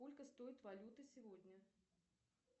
сколько стоит валюта сегодня